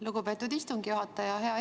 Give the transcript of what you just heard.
Lugupeetud istungi juhataja!